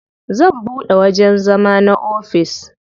Zan buɗe wajen zama na ofis.